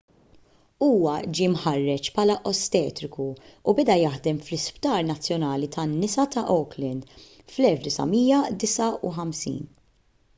huwa ġie mħarreġ bħala ostetriku u beda jaħdem fl-isptar nazzjonali tan-nisa ta' auckland fl-1959